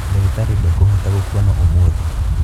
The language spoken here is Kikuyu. Ndagitarĩ ndakũhota gũkwona ũmũthĩ.